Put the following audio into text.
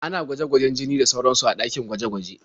Ana gwaje-gwajen jini da sauransu a ɗakin gwaje-gwaje.